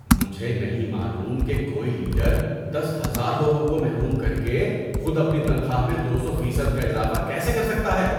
مجھے نہیں معلوم کہ کوئی لیڈر دس ہزار لوگوں کو محروم کرکے خود اپنی تنخواہ میں دو سو فیصد کا اضافہ کیسے کر سکتا ہے۔